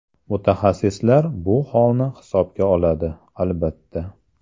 Mutaxassislar bu holni hisobga oladi, albatta.